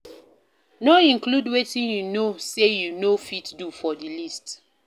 No include wetin you know say you no fit do for di list